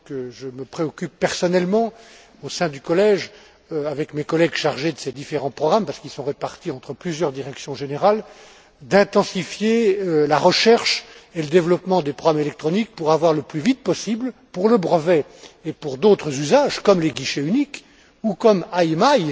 Je me préoccupe personnellement, au sein du collège, avec mes collègues chargés de ces différents programmes, parce qu'ils sont répartis entre plusieurs directions générales, d'intensifier la recherche et le développement des programmes électroniques pour avoir le plus vite possible pour le brevet, et pour d'autres usages, comme les guichets uniques, ou comme